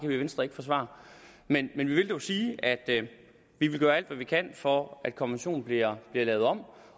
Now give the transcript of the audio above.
vi i venstre ikke forsvare men vi vil dog sige at vi vil gøre alt hvad vi kan for at konventionen bliver lavet om